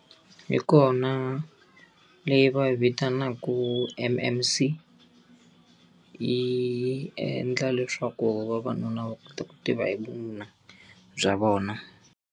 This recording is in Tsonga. Yi kona leyi va yi vitanaka M_M_C. Yi endla leswaku vavanuna va kota ku tiva hi vununa bya vona.